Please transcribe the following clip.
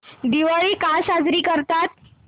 दिवाळी का साजरी करतात